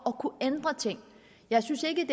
at kunne ændre ting jeg synes ikke